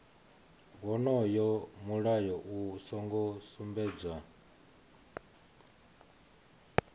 wonoyo mulayo u songo sumbedzwa